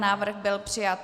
Návrh byl přijat.